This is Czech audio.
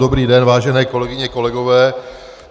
Dobrý den, vážené kolegyně, kolegové.